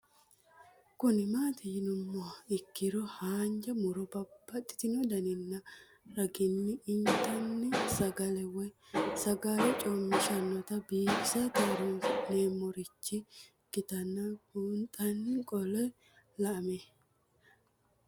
Kuni mati yinumoha ikiro hanja muroni babaxino daninina ragini intani sagale woyi sagali comishatenna bifisate horonsine'morich ikinota bunxana qoleno lame